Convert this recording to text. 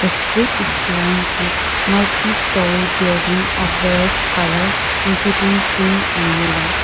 The street is lined with multistory building of various colour including pink and yellow.